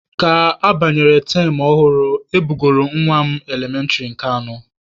Ka abanyere tam ọhụrụ, e bugoro nwa m elementịrị nke anọ.